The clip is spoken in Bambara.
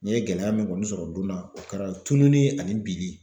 N'i ye gɛlɛya min kɔni sɔrɔ o don na o kɛra tununi ani binli.